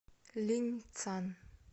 линьцан